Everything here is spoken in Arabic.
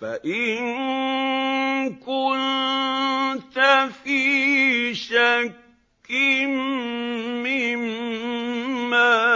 فَإِن كُنتَ فِي شَكٍّ مِّمَّا